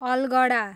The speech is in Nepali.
अलगढा